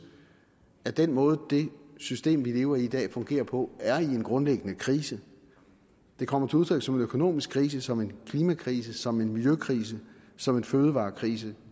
at den måde det system vi lever i i dag fungerer på er i en grundlæggende krise det kommer til udtryk som en økonomisk krise som en klimakrise som en miljøkrise som en fødevarekrise